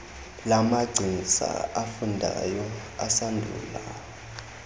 lamagcisa afundayo asandula